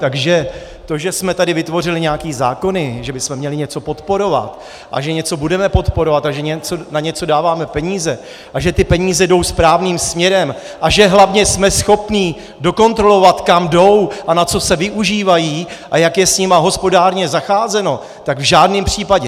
Takže to, že jsme tady vytvořili nějaké zákony, že bychom měli něco podporovat a že něco budeme podporovat a že na něco dáváme peníze a že ty peníze jdou správným směrem a že hlavně jsme schopni dokontrolovat, kam jdou a na co se využívají a jak je s nimi hospodárně zacházeno, tak v žádném případě.